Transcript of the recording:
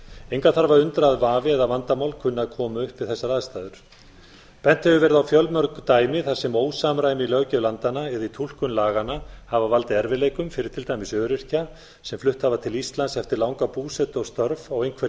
engan þarf að undra að vafi eða vandamál kunna að koma upp við þessar aðstæður bent hefur verið á fjölmörg dæmi þar sem ósamræmi á löggjöf landanna eða í túlkun laganna hafa valdið erfiðleikum fyrir til dæmis öryrkja sem flutt hafa til íslands eftir langa búsetu og störf á einhverju